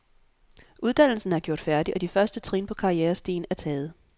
Uddannelsen er gjort færdig, og de første trin på karrierestigen er taget.